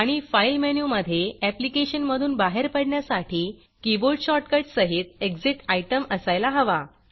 आणि फाईल मेनूमधे ऍप्लिकेशन मधून बाहेर पडण्यासाठी कीबोर्ड शॉर्टकट सहित Exitएग्ज़िट आयटम असायला हवा